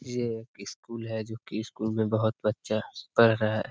ये स्कूल है जो कि स्कूल में बोहोत बच्चे पढ़ रहा --